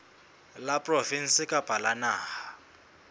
la provinse kapa la naha